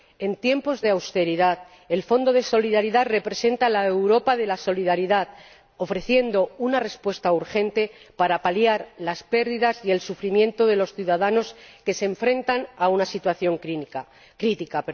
En tiempos de austeridad, el Fondo de Solidaridad representa la Europa de la solidaridad al ofrecer una respuesta urgente para paliar las pérdidas y el sufrimiento de los ciudadanos que se enfrentan a una situación crítica.